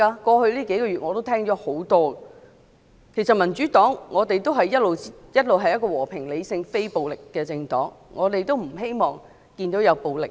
過去數個月，我已多次聽到這類說話，其實民主黨一直是和平、理性、非暴力的政黨，我們不希望看到暴力行為。